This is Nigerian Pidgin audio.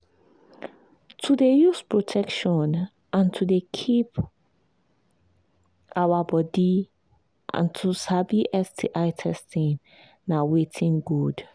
to they use protection and to they keep our body and to sabi sti testing na watin good